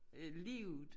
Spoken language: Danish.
Øh livet